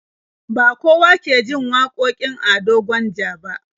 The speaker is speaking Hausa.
Ba kowa ke jin wakokin Ado Gwanja ba.